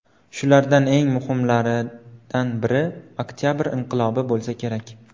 Shulardan eng muhimlaridan biri Oktabr inqilobi bo‘lsa kerak.